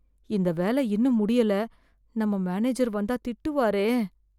இந்த வேல இன்னும் முடியல, நம்ம மேனேஜர் வந்தா திட்டுவாரே.